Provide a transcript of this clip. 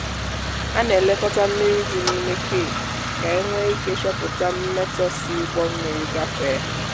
a na-elekọta mmiri dị n'ime cage ka e nwee ike chọpụta mmetọ si ụgbọ mmiri gafee.